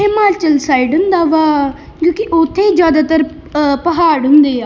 Himachal side ਹੁੰਦਾ ਵਾ ਕਿਉੰਕਿ ਉੱਥੇ ਹੀ ਜ਼ਿਆਦਾਤਰ ਪਹਾੜ ਹੁੰਦੇ ਆ।